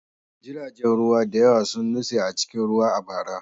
Jiragen ruwa da yawa sun nutse a cikin ruwa a bara.